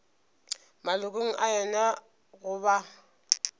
malokong a yona go ba